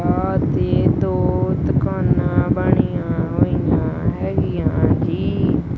ਸਾਥ ਹੀ ਦੋ ਦੁਕਾਨਾਂ ਬਣੀਆਂ ਹੋਈਆਂ ਹੈਗੀਆਂ ਜੀ।